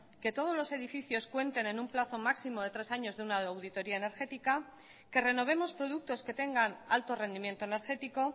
que todos los edificios cuenten en un plazo máximo de tres años de una auditoría energética que renovemos productos que tengan alto rendimiento energético